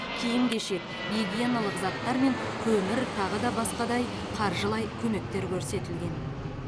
киім кешек гигиеналық заттар мен көмір тағы басқада қаржылай көмектер көрсетілген